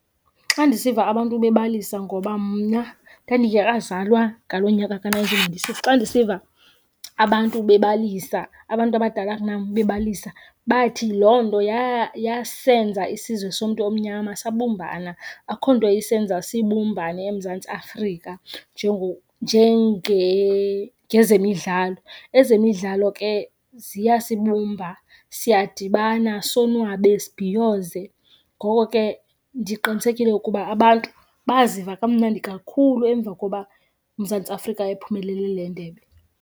Xa ndisiva abantu bebalisa ngoba mna ndandingekazalwa ngaloo nyaka ka nineteen ninety six. Xa ndisiva abantu bebalisa abantu abadala kunam bebalisa bathi loo nto yasenza isizwe somntu omnyama sabumbana. Akho nto isenza sibumbane eMzantsi Afrika njengezemidlalo. Ezemidlalo ke ziyasibumba, siyadibana sonwabe, sibhiyoze. Ngoko ke ndiqinisekile ukuba abantu baziva kamnandi kakhulu emva koba uMzantsi Afrika ephumelele le ndebe.